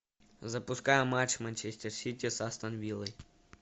запускай матч манчестер сити с астон виллой